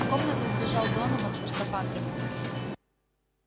в комнату вбежал донован со скафандрами